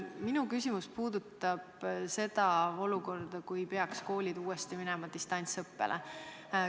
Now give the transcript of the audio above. Minu küsimus puudutab seda olukorda, kui koolid peaksid uuesti minema distantsõppele.